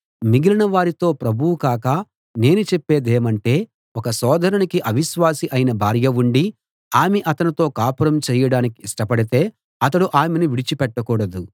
మిగిలిన వారితో ప్రభువు కాక నేనే చెప్పేదేమంటే ఒక సోదరునికి అవిశ్వాసి అయిన భార్య ఉండి ఆమె అతనితో కాపురం చేయడానికి ఇష్టపడితే అతడు ఆమెను విడిచిపెట్టకూడదు